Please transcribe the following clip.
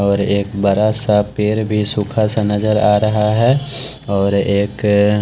और एक बड़ा सा पेड़ भी सुखा सा नज़र आ रहा है और एक --